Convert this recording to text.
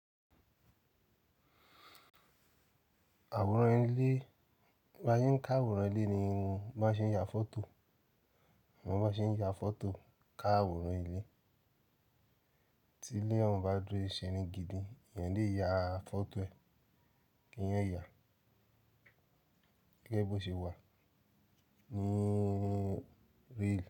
Àwòrán ilé, bá yín ń ká àwòrán ilé ni bọ́ ṣe ń ya fọ́tò, bọ́ máa ṣe ń ya fọ́tò ká àwòrán ilé. Tí ilé ọ̀ún bá dúró ṣe irun gidi, èèyàn lè ya fọ́tò ẹ̀, kí ẹ̀yán ó yà gẹ́gẹ́ bí ó ṣe wà ní real.